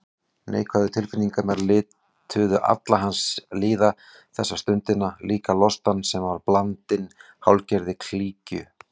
Neikvæðu tilfinningarnar lituðu alla hans líðan þessa stundina, líka lostann sem var blandinn hálfgerðri klígju.